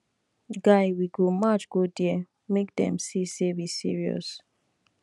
guy we go march go there make dem see say we serious